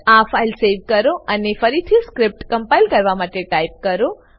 આ file save કરો અને ફરીથી સ્ક્રીપ્ટ કમ્પાઈલ કરવા માટે ટાઈપ કરો